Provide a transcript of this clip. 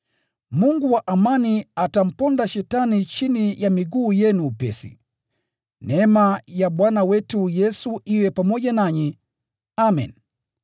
Mungu wa amani atamponda Shetani chini ya miguu yenu upesi. Neema ya Bwana wetu Yesu iwe nanyi. Amen.